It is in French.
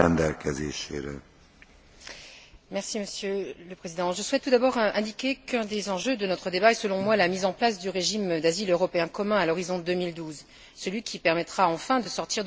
Monsieur le Président, je souhaite tout d'abord indiquer qu'un des enjeux de notre débat est, selon moi, la mise en place du régime d'asile européen commun à l'horizon 2012, celui qui permettra enfin de sortir de l'addition des pires pratiques nationales en matière d'asile.